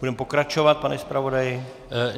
Budeme pokračovat, pane zpravodaji.